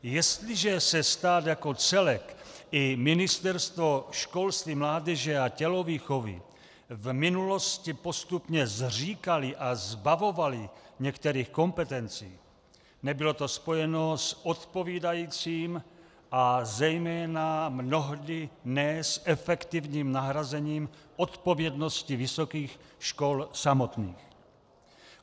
Jestliže se stát jako celek i Ministerstvo školství, mládeže a tělovýchovy v minulosti postupně zříkaly a zbavovaly některých kompetencí, nebylo to spojeno s odpovídajícím a zejména mnohdy ne s efektivním nahrazením odpovědnosti vysokých škol samotných.